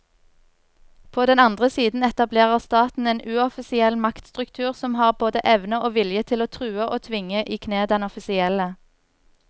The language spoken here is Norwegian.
På den andre siden etablerer staten en uoffisiell maktstruktur som har både evne og vilje til å true og tvinge i kne den offisielle.